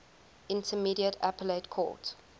intermediate appellate court